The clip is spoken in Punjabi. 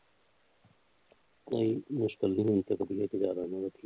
ਤੇ ਮੁਸ਼ਕਿਲ ਦੇ ਹੁਣ ਤੇ ਤਬੀਅਤ ਜਿਆਦਾ